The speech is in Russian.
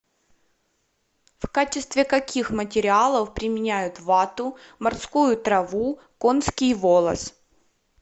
в качестве каких материалов применяют вату морскую траву конский волос